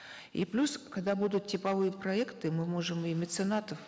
и плюс когда будут типовые проекты мы можем и меценатов